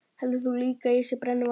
Heldur þú líka að ég sé brennuvargur?